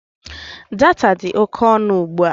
Data dị oke ọnụ ugbua